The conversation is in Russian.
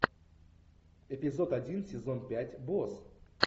эпизод один сезон пять босс